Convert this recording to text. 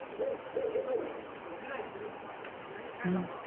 पिक्चरला इतकी गर्दी राहायची